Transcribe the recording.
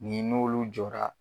Nin n'olu jɔra.